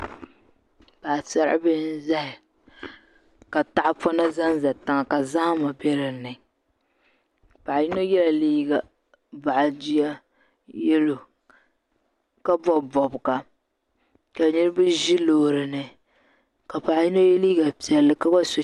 Paɣasaribihi n ʒɛya ka tahapona ʒɛnʒɛ tiŋa ka zahama bɛ dinni paɣa yino yɛla liiga boɣa jia yɛlo ka bob bobga ka niraba ʒi loori ni ka paɣa yino yɛ liiga piɛlli ka gba so